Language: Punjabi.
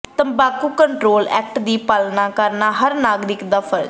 ਤੰਬਾਕੂ ਕੰਟਰੋਲ ਐਕਟ ਦੀ ਪਾਲਣਾ ਕਰਨਾ ਹਰ ਨਾਗਰਿਕ ਦਾ ਫ਼ਰਜ਼